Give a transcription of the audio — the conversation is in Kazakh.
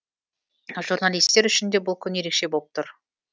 журналистер үшін де бұл күн ерекше болып тұр